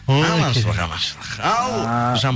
аманшылық аманшылық ал